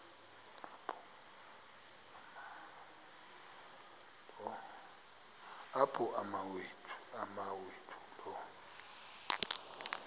apho umawethu lo